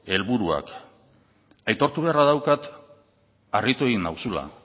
helburuak aitortu beharra daukat harritu egin nauzula